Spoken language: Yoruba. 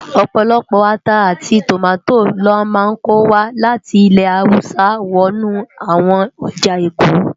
Opólópó átá áti tómátó lò má nkó wá láti ilè háwùsá wònú áwòn òjá ékó.